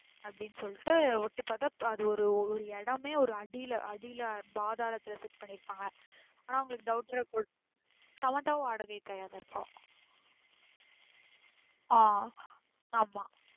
அப்டின்னு சொல்லிடு ஒட்டி பாத்தா அது ஒரு இடமே ஒரு அடில அடில பாதலத்துல set பன்னிருபங்க ஆனா அவங்களுக்கு doubt ஆ இருக்கும் சமந்தாவும் வாடக தாயாதான் இருப்பா ஆஹ்ன் ஆமா.